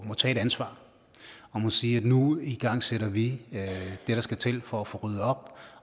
må tage et ansvar og må sige at nu igangsætter vi det der skal til for at få ryddet op